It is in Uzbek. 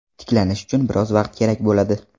Tiklanish uchun biroz vaqt kerak bo‘ladi.